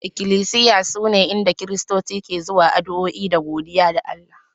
Iklisiya sune inda Kiristoci suke zuwa yin addu'a da godiya ga Allah